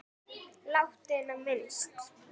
Látinna minnst.